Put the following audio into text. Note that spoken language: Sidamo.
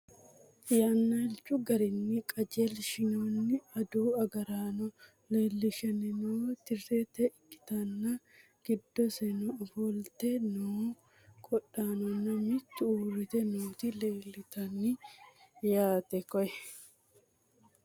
yannilichu garinni qajeelshinoonni adawu agaraano leelishshanni noo tiriite ikkitanna, giddosino ofolte noo qodhaanonna mitu uurrite nooti leeltanno yaate koye .